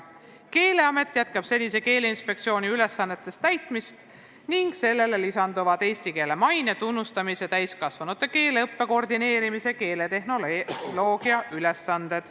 Keeleamet jätkab senise Keeleinspektsiooni ülesannete täitmist ning sellele lisanduvad eesti keele maine, tunnustamise, täiskasvanute keeleõppe koordineerimise ja keeletehnoloogiaga seotud ülesanded.